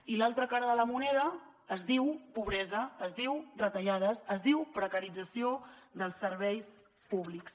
i l’altra cara de la moneda es diu pobresa es diu retallades es diu precarització dels serveis públics